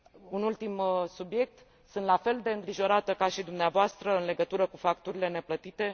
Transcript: Un ultim subiect sunt la fel de îngrijorată ca și dumneavoastră în legătură cu facturile neplătite.